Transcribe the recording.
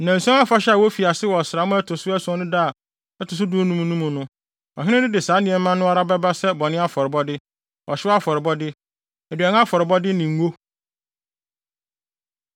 “ ‘Nnanson Afahyɛ a wofi ase wɔ ɔsram a ɛto so ason no da a ɛto so dunum no mu no, ɔhene no de saa nneɛma no ara bɛba sɛ bɔne afɔrebɔde, ɔhyew afɔrebɔde, aduan afɔrebɔde ne ngo.